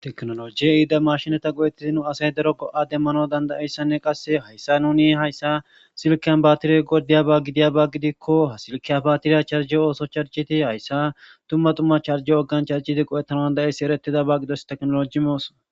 Tekinojey ehida eqata go'etid nu dere asay dark go''a danawu danda'iyausanne qase haysan nuni haysan sileken batitlrey wuriyaba gidakon charjidi go'etanawu danda'os